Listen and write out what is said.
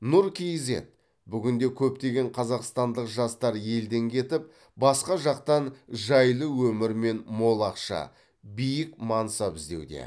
нұр кизед бүгінде көптеген қазақстандық жастар елден кетіп басқа жақтан жайлы өмір мен мол ақша биік мансап іздеуде